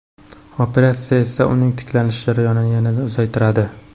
Operatsiya esa uning tiklanish jarayonini yanada uzaytiradi.